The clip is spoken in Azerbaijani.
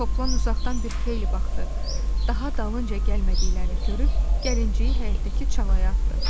Toplan uzaqdan bir xeyli baxdı, daha dalınca gəlmədiklərini görüb gəlinciyi həyətdəki çalaya atdı.